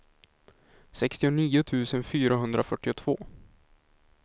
sextionio tusen fyrahundrafyrtiotvå